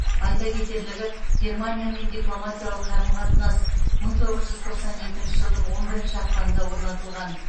айта кетерлігі германиямен дипломатиялық қарым қатынас мың тоғыз жүз тоқсан екінші жылдың он бірінші ақпанында орнатылған